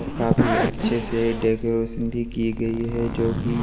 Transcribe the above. और काफी अच्छे से डेकोरेशन भी की गई है जो कि--